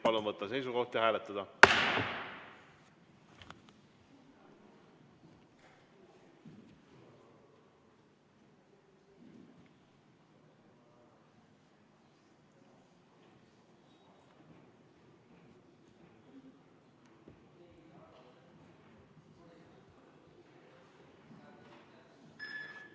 Palun võtta seisukoht ja hääletada!